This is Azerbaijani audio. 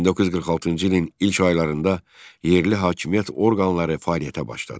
1946-cı ilin ilk aylarında yerli hakimiyyət orqanları fəaliyyətə başladı.